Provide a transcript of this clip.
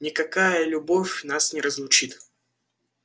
никакая любовь нас не разлучит